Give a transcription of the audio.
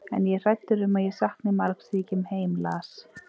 En ég er hræddur um að ég sakni margs þegar ég kem heim, las